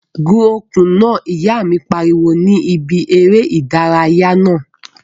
Gun okùn náà! Ìyá mi pariwo ní bi eré ìdárayá naa